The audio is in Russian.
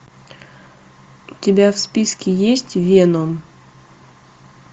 у тебя в списке есть веном